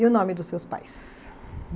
E o nome dos seus pais?